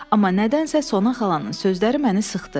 Amma nədənsə Sonaxalanın sözləri məni sıxdı.